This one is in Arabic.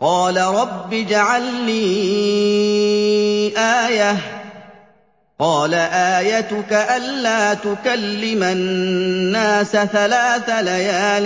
قَالَ رَبِّ اجْعَل لِّي آيَةً ۚ قَالَ آيَتُكَ أَلَّا تُكَلِّمَ النَّاسَ ثَلَاثَ لَيَالٍ